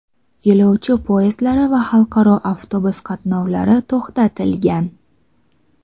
yo‘lovchi poyezdlari va xalqaro avtobus qatnovlari to‘xtatilgan.